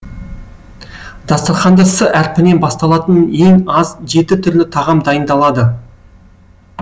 дастарханда с әрпінен басталатын ең аз жеті түрлі тағам дайындалады